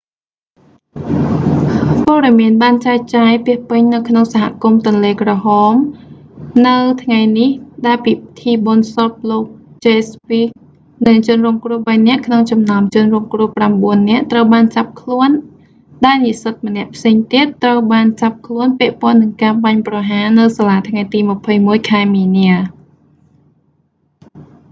ព័ត៌មានបានចែកចាយពាសពេញនៅក្នុងសហគមន៍ទន្លេក្រហម red lak នៅថ្ងៃនេះ ដែលពិធីបុណ្យសពលោកចេហ្វ វីស៍ jeff weise និងជនរងគ្រោះបីនាក់ក្នុងចំណោមជនរងគ្រោះប្រាំបួននាក់ត្រូវបានចាប់ខ្លួនដែលនិស្សិតម្នាក់ផ្សេងទៀត ត្រូវបានចាប់ខ្លួនពាក់ព័ន្ធនឹងការបាញ់ប្រហារនៅសាលាថ្ងៃទី 21 ខែមីនា